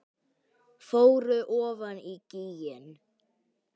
Fóru ofan í gíginn